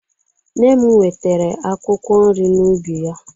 Nne m wetere akwụkwọ nri n'ubi ya.